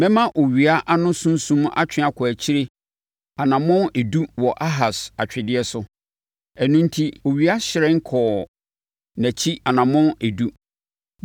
Mɛma owia ano sunsum atwe akɔ nʼakyi anammɔn edu wɔ Ahas atwedeɛ so.’ ” Ɛno enti, owia hyerɛn no kɔɔ nʼakyi anammɔn edu.